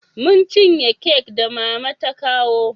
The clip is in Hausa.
Mun cinye kek da mama ta kawo